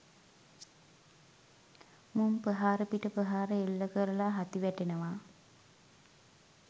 මුං ප්‍රහාර පිට ප්‍රහාර එල්ල කරලා හති වැටෙනවා.